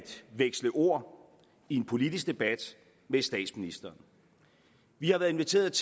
veksle ord i en politisk debat med statsministeren vi har været inviteret